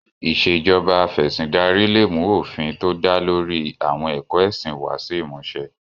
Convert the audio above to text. Ìṣèjoba Af'ẹ̀sìndarí lè mú òfin tó dá lórí i àwọn ẹ̀kọ́ ẹ̀sìn wá sí ìmúṣẹ